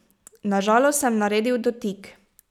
Na žalost sem naredil dotik.